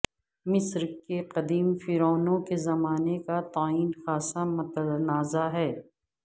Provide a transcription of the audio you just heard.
مصر کے قدیم فرعونوں کے زمانے کا تعین خاصا متنازع ہے